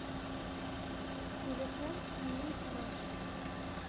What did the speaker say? телефон ниитмаш